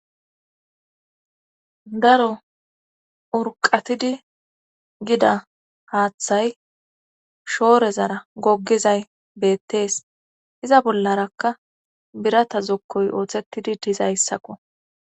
daro urqatidi gida haaththay shoorezara goggizay beettees iza bollarakka birata zokkoy ooththettidi dizayssakko